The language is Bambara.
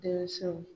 Denmisɛnw